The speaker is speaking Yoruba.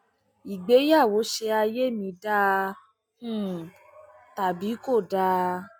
ìgbéyàwó ṣe ayé mi dáa um tàbí kò dáa